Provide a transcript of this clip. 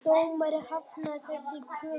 Dómari hafnaði þessari kröfu